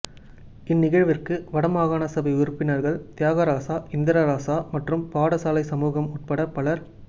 இந் நிகழ்விற்கு வட மாகாணசபை உறுப்பினர்கள் தியாகராசா இந்திரராஜா மற்றும் பாடசாலைச் சமூகம் உட்பட பலர்